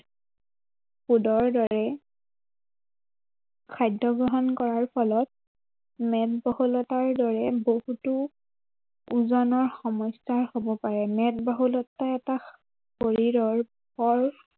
food ৰ দৰে খাদ্য় গ্ৰহণ কৰাৰ ফলত, মেদবহুলতাৰ দৰে বহুতো, ওজনৰ সমস্য়া হব পাৰে। মেদ বহুলতা এটা, শৰীৰৰ